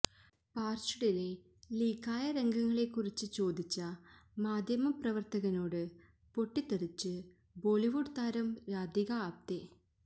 പാര്ച്ച്ഡിലെ ലീക്കായ രംഗങ്ങളെക്കുറിച്ച് ചോദിച്ച് മാധ്യമപ്രവര്ത്തകനോട് പൊട്ടിത്തെറിച്ച് ബോളിവുഡ് താരം രാധിക ആപ്തേ